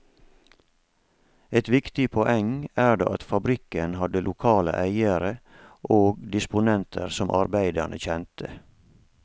Et viktig poeng er det at fabrikkene hadde lokale eiere og disponenter som arbeiderne kjente.